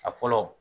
A fɔlɔ